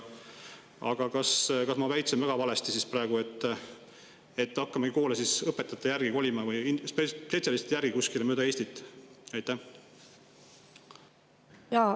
Aga kas ma väitsin väga valesti praegu, et hakkame siis koole õpetajate järgi või spetsialistide järgi kuskile mööda Eestit kolima?